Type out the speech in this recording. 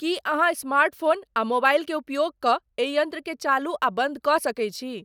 की अहाँस्मार्ट फ़ोन अउर मोबाइल के उपयोग क एहि यंत्र के चालू अउर बंद क सके छी